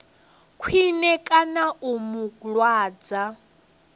khwine kana u mu lwadza